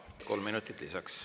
Kolm minutit lisaks.